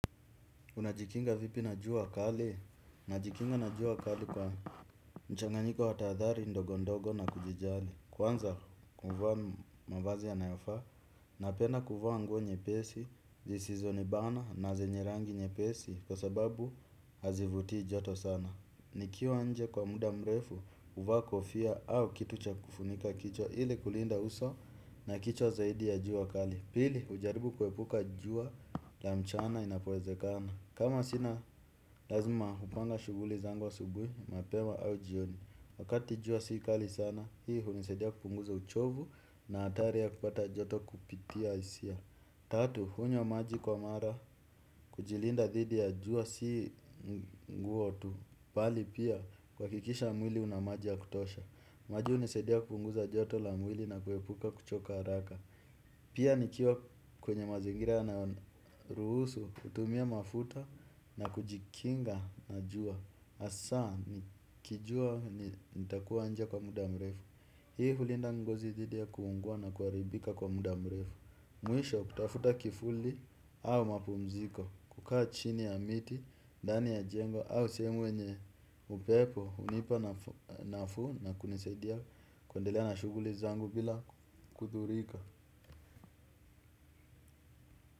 Unajikinga vipi na jua kali? Najikinga na jua kali kwa mchanganyiko wa tahadhari ndogo ndogo na kujijali. Kwanza kuvaa mavazi yanayofaa, napenda kuvaa nguo nyepesi, zisizonibana na zenye rangi nyepesi kwa sababu hazivutii joto sana. Nikiwa nje kwa muda mrefu, huvaa kofia au kitu cha kufunika kichwa ili kulinda uso na kichwa zaidi ya jua kali. Pili, hujaribu kuepuka jua la mchana inapowezekana. Kama sina lazima hupanga shughuli zangu asubuhi, mapema au jioni. Wakati jua si kali sana, hii hunisaidia kupunguza uchovu na hatari ya kupata joto kupitia hisia. Tatu, hunywa maji kwa mara, kujilinda dhidi ya jua si nguo tu. Bali pia, kuhakikisha mwili una maji ya kutosha. Maji hunisaidia kupunguza joto la mwili na kuepuka kuchoka haraka. Pia nikiwa kwenye mazingira yanayorusu, kutumia mafuta na kujikinga na jua hasa, nikijua nitakuwa nje kwa muda mrefu. Hii hulinda ngozi dhidi ya kuungua na kuharibika kwa muda mrefu. Mwisho kutafuta kifuli au mapumziko. Kukaa chini ya miti, ndani ya jengo au sehemu yenye upepo hunipa nafuu na kunisaidia kuendelea na shughuli zangu bila kudhurika.